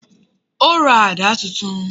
O ra àdá titun